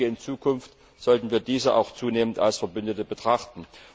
In Zukunft sollten wir diese auch zunehmend als Verbündete betrachten.